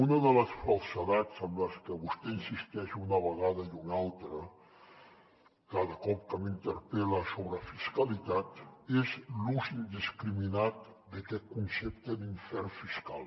una de les falsedats en les que vostè insisteix una vegada i una altra cada cop que m’interpel·la sobre fiscalitat és l’ús indiscriminat d’aquest concepte d’infern fiscal